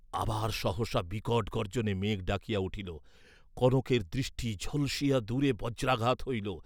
আবার সহসা বিকট গর্জ্জনে মেঘ ডাকিয়া উঠিল, কনকের দৃষ্টি ঝলসিয়া দূরে বজ্রাঘাত হইল।